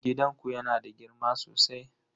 Gidanku yana da girma sosai?